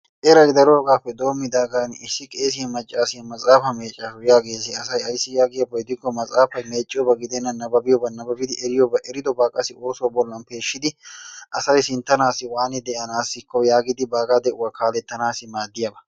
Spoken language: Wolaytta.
Eray daroogaappe denddigaan issi qeessiyaa maccasiyaa maxaafaa meeccasu yaagees asay. aysi yaagiyaaba gidiko asay matsaafay mecciyooba gidenna nababiyooba nababidi eriyooba eridobaa qassi oosuwaa bollaan peeshshidi asay sinttanaasi waanidi de"anaako yaagidi baagaa de'uwaa kaalettanasi maaddiyaaba.